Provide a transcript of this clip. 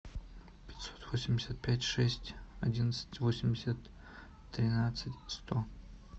пятьсот восемьдесят пять шесть одиннадцать восемьдесят тринадцать сто